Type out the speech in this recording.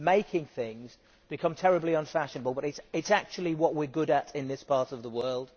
Making things has become terribly unfashionable but it is actually what we are good at in this part of the world.